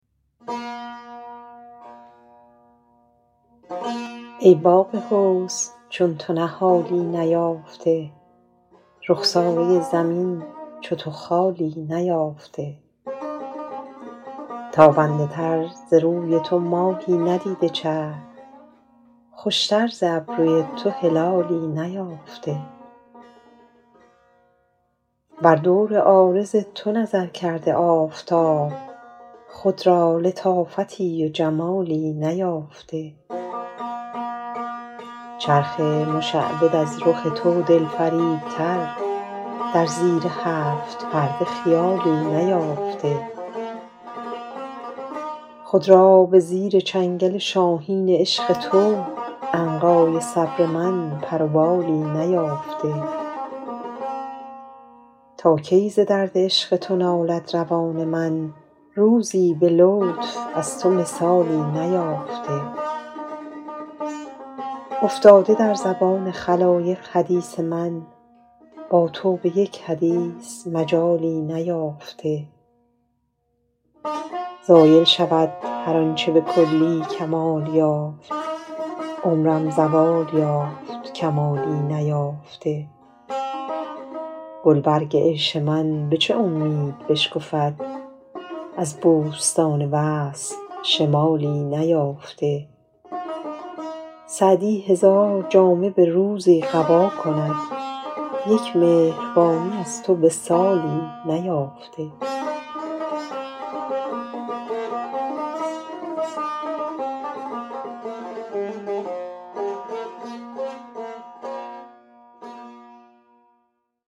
ای باغ حسن چون تو نهالی نیافته رخساره زمین چو تو خالی نیافته تابنده تر ز روی تو ماهی ندیده چرخ خوشتر ز ابروی تو هلالی نیافته بر دور عارض تو نظر کرده آفتاب خود را لطافتی و جمالی نیافته چرخ مشعبد از رخ تو دلفریبتر در زیر هفت پرده خیالی نیافته خود را به زیر چنگل شاهین عشق تو عنقای صبر من پر و بالی نیافته تا کی ز درد عشق تو نالد روان من روزی به لطف از تو مثالی نیافته افتاده در زبان خلایق حدیث من با تو به یک حدیث مجالی نیافته زایل شود هر آن چه به کلی کمال یافت عمرم زوال یافت کمالی نیافته گلبرگ عیش من به چه امید بشکفد از بوستان وصل شمالی نیافته سعدی هزار جامه به روزی قبا کند یک مهربانی از تو به سالی نیافته